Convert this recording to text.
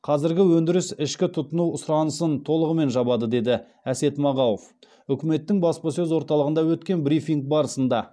қазіргі өндіріс ішкі тұтыну сұранысын толығымен жабады деді әсет мағауов үкіметтің баспасөз орталығында өткен брифинг барысында